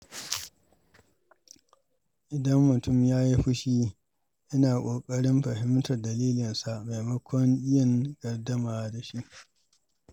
Idan mutum ya yi fushi, ina ƙoƙarin fahimtar dalilinsa maimakon yin gardama da shi.